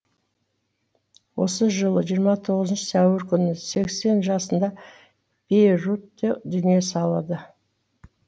осы жылы жиырма тоғызыншы сәуір күні сексен жасында бейрутте дүние салады